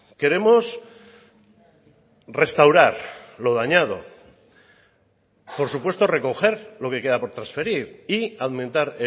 queremos restaurar lo dañado por supuesto recoger lo que queda por transferir y aumentar